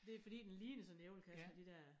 Det fordi den ligner sådan en æblekasse med de dér